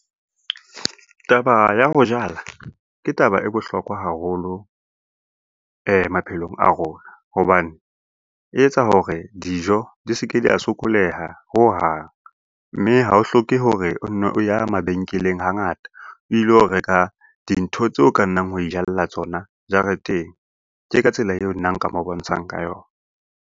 Taba ya ho jala ke taba e bohlokwa haholo maphelong a rona hobane, e etsa hore dijo di se ke di a sokoleha ho hang, mme ha o hloke hore o nne o ya mabenkeleng hangata o ilo reka dintho tseo ka nnang wa e ijalla tsona jareteng. Ke ka tsela eo nna nka mo bontshang ka yona.